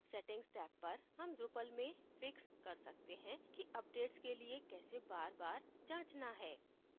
settings tab पर हम drupal में फिक्स कर सकते हैं कि updates के लिए कैसे बार बार जाँचना है